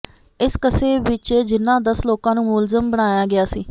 ਇਸ ਕਸੇ ਵਿਚ ਜਿਨ੍ਹਾਂ ਦਸ ਲੋਕਾਂ ਨੂੰ ਮੁਲਜ਼ਮ ਬਣਾਇਆ ਗਿਆ ਸੀ